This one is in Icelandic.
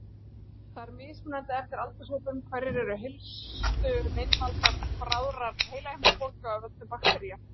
Það er mismunandi eftir aldurshópum hverjir eru helstu meinvaldar bráðrar heilahimnubólgu af völdum baktería.